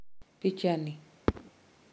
picha ni